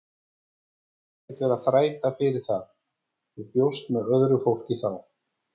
Þú skalt ekkert vera að þræta fyrir það, þú bjóst með öðru fólki þá!